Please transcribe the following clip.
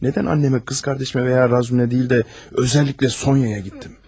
Nədən annəmə, qız qardaşıma və ya Razume deyil də, özəlliklə Sonyaya getdim.